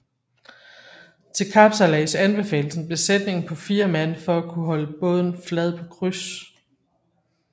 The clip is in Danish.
Til kapsejlads anbefales en besætning på 4 mand for at kunne holde båden flad på kryds